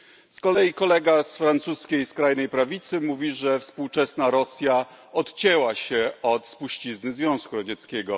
Z kolei kolega z francuskiej skrajnej prawicy mówi, że współczesna Rosja odcięła się od spuścizny Związku Radzieckiego.